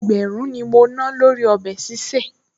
Ẹgbẹ̀rún ni mo ná lórí ọbẹ̀ sísè